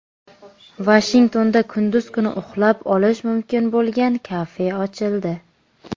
Vashingtonda kunduz kuni uxlab olish mumkin bo‘lgan kafe ochildi.